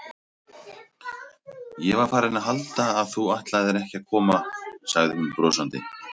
Ég var farin að halda að þú ætlaðir ekki að koma sagði hún brosandi.